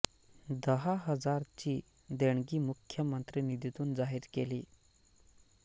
दहा हजार ची देणगी मुख्यमंत्री निधीतून जाहीर केली